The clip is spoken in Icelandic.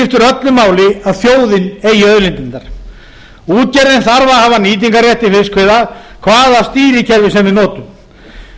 öllu máli að þjóðin eigi auðlindirnar útgerðin þarf að hafa nýtingarrétt til fiskveiða hvaða stýrikerfi sem við notum